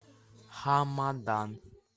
хамадан